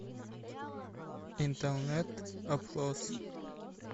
интернет опрос